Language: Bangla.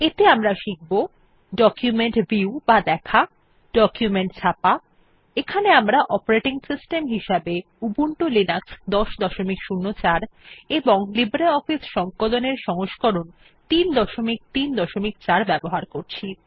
এতে আমরা শিখব ডকুমেন্ট ভিউ বা দেখা ডকুমেন্ট ছাপা এখানে আমরা অপারেটিং সিস্টেম হিসেবে উবুন্টু লিনাক্স১০০৪ এবং লিব্রিঅফিস সংকলন এর সংস্করণ ৩৩৪ ব্যবহার করছি